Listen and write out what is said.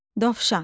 Dovşan.